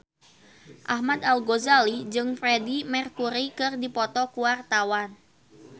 Ahmad Al-Ghazali jeung Freedie Mercury keur dipoto ku wartawan